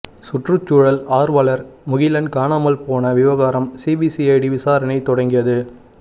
சுற்றுச்சூழல் ஆர்வலர் முகிலன் காணாமல் போன விவகாரம் சிபிசிஐடி விசாரணை தொடங்கியது